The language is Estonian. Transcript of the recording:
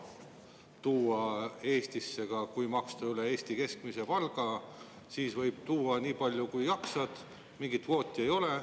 Kui maksta on kõrgem kui Eesti keskmine palk, siis võib Eestisse tuua nii palju kui jaksad, mingeid kvoote ei ole.